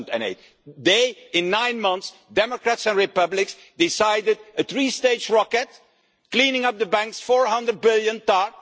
2008. They, in nine months, Democrats and Republicans, decided a three stage rocket cleaning up the banks 400 billion TARP